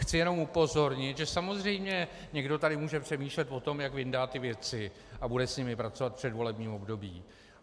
Chci jenom upozornit, že samozřejmě někdo tady může přemýšlet o tom, jak vyndá ty věci a bude s nimi pracovat v předvolebním období.